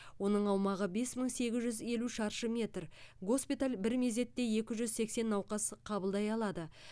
оның аумағы бес мың сегіз жүз елу шаршы метр госпиталь бір мезетте екі жүз сексен науқас қабылдай алады